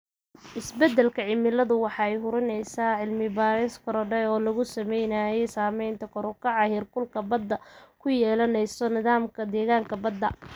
Isbeddelka cimiladu waxa ay sii hurinaysaa cilmi-baadhis korodhay oo lagu samaynayo saamaynta kor u kaca heerkulka baddu ku yeelanayo nidaamka deegaanka badda.